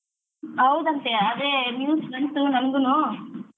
ಹೌದಂತೆ ಅದೇ news ಬಂತು ನಂಗುನು